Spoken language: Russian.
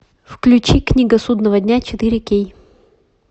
включи книга судного дня четыре кей